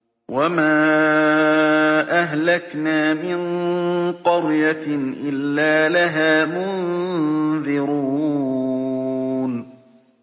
وَمَا أَهْلَكْنَا مِن قَرْيَةٍ إِلَّا لَهَا مُنذِرُونَ